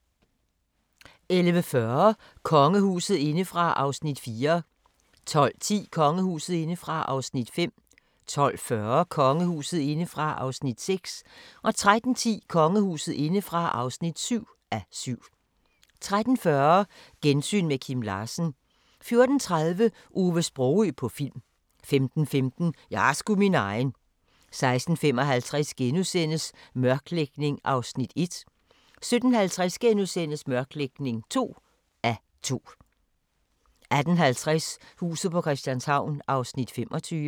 11:40: Kongehuset indefra (4:7) 12:10: Kongehuset indefra (5:7) 12:40: Kongehuset indefra (6:7) 13:10: Kongehuset indefra (7:7) 13:40: Gensyn med Kim Larsen 14:30: Ove Sprogøe på film 15:15: Jeg er sgu min egen 16:55: Mørklægning (1:2)* 17:50: Mørklægning (2:2)* 18:50: Huset på Christianshavn (25:84)